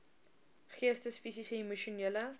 geestes fisiese emosionele